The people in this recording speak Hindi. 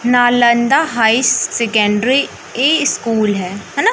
नालंदा हाई सेकेंडरी स्कूल है है न।